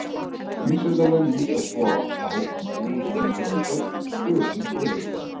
Vísindamenn líta svo á að búið sé að finna öll stöðug frumefni.